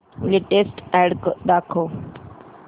latest ad दाखव